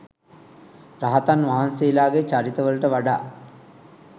රහතන් වහන්සේලාගේ චරිත වලට වඩා